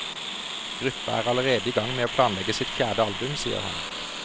Gruppa er allerede i gang med å planlegge sitt fjerde album, sier han.